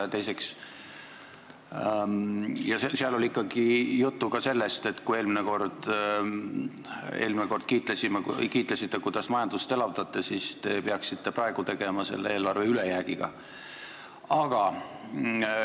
Ja teiseks, seal oli juttu ka sellest, et kui te eelmine kord kiitlesite, kuidas te majandust elavdate, siis te peaksite praegu selle eelarve ülejäägiga tegelema.